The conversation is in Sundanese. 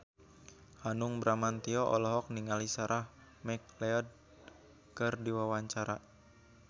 Hanung Bramantyo olohok ningali Sarah McLeod keur diwawancara